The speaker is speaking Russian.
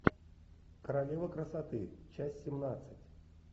королева красоты часть семнадцать